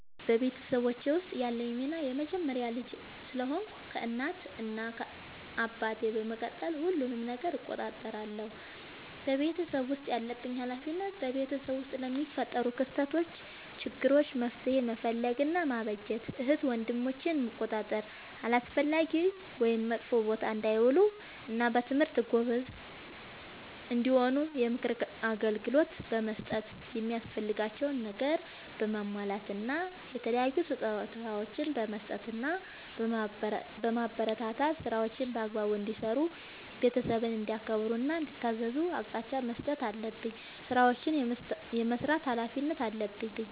በቤተሰቦቼ ውስጥ ያለኝ ሚና የመጀመሪያ ልጅ ስለሆንኩ ከእናት እና አባቴ በመቀጠል ሁሉንም ነገር እቆጣጠራለሁ። በቤተሰቤ ውስጥ ያለብኝ ኃላፊነት በቤተሰብ ውስጥ ለሚፈጠሩ ክስተቶች ÷ችግሮች መፍትሄ መፈለግ እና ማበጀት ÷ እህት ወንድሞቼን መቆጣጠር አላስፈላጊ ወይም መጥፎ ቦታ እንዳይውሉ እና በትምህርታቸው ጎበዝ እንዲሆኑ የምክር አገልግሎት በመስጠት የሚያስፈልጋቸውን ነገር በማሟላት እና የተለያዩ ስጦታዎችን በመስጠትና በማበረታታት ÷ ስራዎችን በአግባቡ እንዲሰሩ ÷ ቤተሰብን እንዲያከብሩ እና እንዲታዘዙ አቅጣጫ መስጠት አለብኝ። ስራዎችን የመስራት ኃላፊነት አለብኝ።